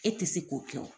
E tɛ se k'o kɛ o